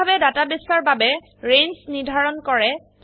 কিভাবে ডাটাবেসৰ বাবে ৰেঞ্জ নিৰ্ধাৰণ কৰে